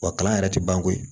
Wa kalan yɛrɛ tɛ ban koyi